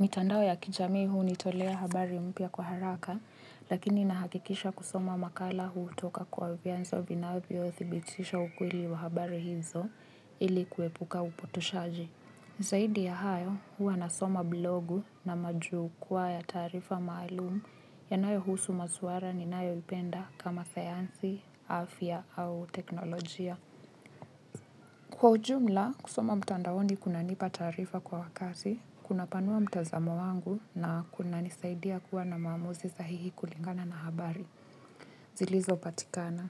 mitandao ya kijamii huu nitolea habari mpya kwa haraka, lakini nahakikisha kusoma makala huu toka kwa vianzo vinavyo thibitisha ukweli wa habari hizo ili kuepuka upotoshaji. Zaidi ya hayo, hua nasoma blogu na majukwaa ya tarifa maalumu ya nayo husu masuara ni nayo ipenda kama sayansi, afya au teknolojia. Kwa ujumla, kusoma mtandaoni kuna nipa tarifa kwa wakati, kuna panua mtazamo wangu na kuna nisaidia kuwa na maamuzi sahihi kulingana na habari. Zilizo patikana.